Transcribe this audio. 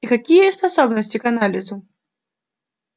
и какие способности к анализу